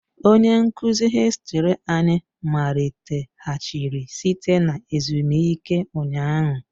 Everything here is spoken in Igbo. Onye nkuzi hìstiri anyị maliteghachiri site na ezumike ụnyaahụ